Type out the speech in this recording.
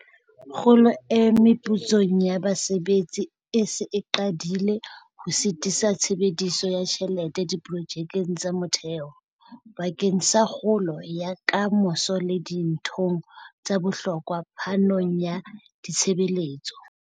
Kgolo e meputsong ya basebetsi e se e qadile ho sitisa tshebediso ya tjhelete diprojekeng tsa motheo, bakeng sa kgolo ya ka moso le dinthong tsa bohlokwa phanong ya ditshebeletso.